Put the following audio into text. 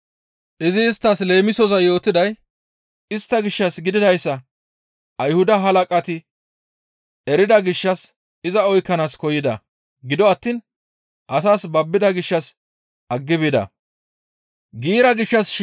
Izi isttas leemisoza yootiday istta gishshas gididayssa Ayhuda halaqati erida gishshas iza oykkanaas koyida; gido attiin asaas babbida gishshas aggi bida.